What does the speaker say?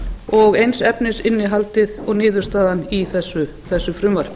og eins efnisinnihaldið og niðurstaðan í þessu frumvarpi